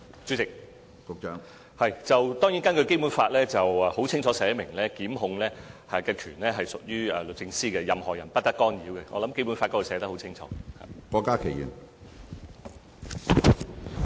主席，當然，《基本法》清楚列明檢控權屬律政司，任何人不得干預，這在《基本法》寫得很清楚。